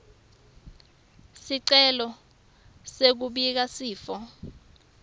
sicelo sekubika sifo